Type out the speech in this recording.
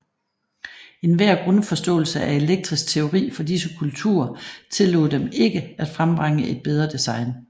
Enhver grundforståelse af elektrisk teori fra disse kulturer tillod dem ikke at frembringe et bedre design